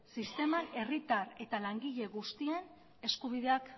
sistema herritar eta langile guztien eskubideak